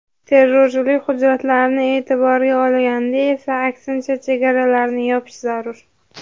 Terrorchilik xurujlarini e’tiborga olganda esa, aksincha, chegaralarni yopish zarur.